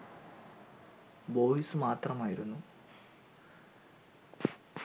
boys മാത്രമായിരുന്നു